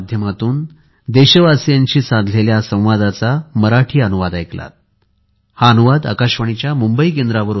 social मिडियावर आम्हाला follow कराPIBMumbai PIBMumbai pibmumbai pibmumbaigmail